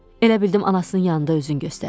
Elə bildim anasının yanında özünü göstərir.